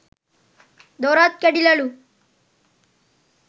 දොරත් කැඩිලලු